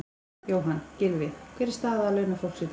Jóhann: Gylfi, hver er staða launafólks í dag?